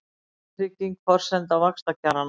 Verðtrygging forsenda vaxtakjaranna